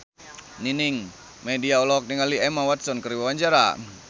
Nining Meida olohok ningali Emma Watson keur diwawancara